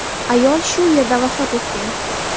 Ayol shu yerda vafot etgan.